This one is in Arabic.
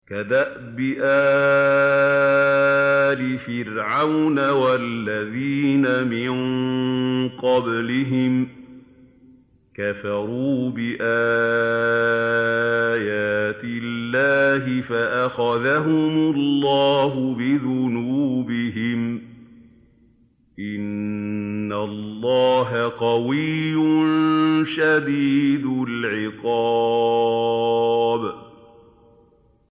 كَدَأْبِ آلِ فِرْعَوْنَ ۙ وَالَّذِينَ مِن قَبْلِهِمْ ۚ كَفَرُوا بِآيَاتِ اللَّهِ فَأَخَذَهُمُ اللَّهُ بِذُنُوبِهِمْ ۗ إِنَّ اللَّهَ قَوِيٌّ شَدِيدُ الْعِقَابِ